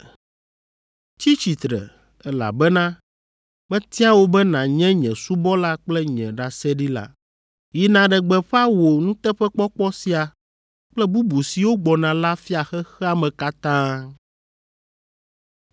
Tsi tsitre, elabena metia wò be nànye nye subɔla kple nye ɖaseɖila. Yi nàɖe gbeƒã wò nuteƒekpɔkpɔ sia kple bubu siwo gbɔna la fia xexea me katã.